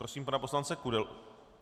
Prosím pana poslance Kudelu.